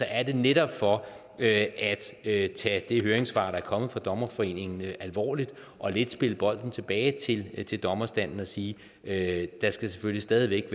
er det netop for at at tage det høringssvar der er kommet fra dommerforeningen alvorligt og lidt spille bolden tilbage til til dommerstanden og sige at der selvfølgelig stadig væk